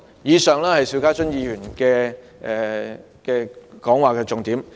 以上是邵家臻議員的意見重點。